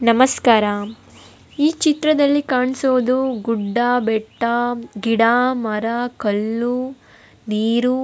ನಮಸ್ಕಾರ ಈ ಚಿತ್ರದಲ್ಲಿ ಕಾಣ್ಸೋದು ಗುಡ್ಡ ಬೆಟ್ಟ ಗಿಡ ಮರ ಕಲ್ಲು ನೀರು --